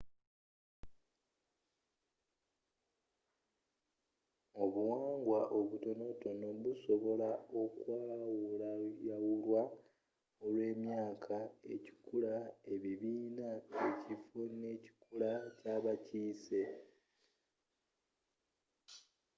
obuwangwa obutonotono busobola okwawulwayawulwa olwemyaka ekikula ebibiina ekifo n'ekikula kyabakiise